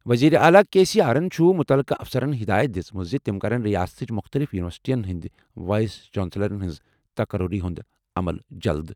وزیر اعلیٰ K C آرَن چھُ مُتعلقہٕ افسرَن ہدایت دِژمٕژ زِ تِم کرَن ریاستٕچ مُختٔلِف یوٗنیورسٹیَن ہٕنٛدۍ وائس چانسلرَن ہٕنٛز تقرری ہُنٛد عمل جلدٕ۔